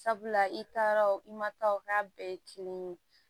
Sabula i taara o i ma taa o k'a bɛɛ ye kelen ye